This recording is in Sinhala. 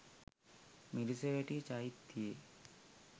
මිරිසවැටි චෛත්‍යයේ